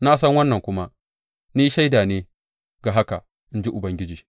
Na san wannan kuma ni shaida ne ga haka, in ji Ubangiji.